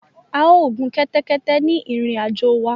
A ò gun kẹ́tẹ́kẹ́tẹ́ ni ìrìn àjò wa